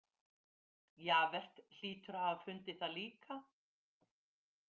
Javert hlýtur að hafa fundið það líka.